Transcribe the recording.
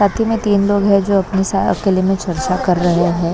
साथी में तीन लोग है जो अपनी अकेले में चर्चा कर रहे हैं।